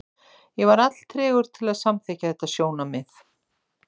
Ég var alltregur til að samþykkja þetta sjónarmið.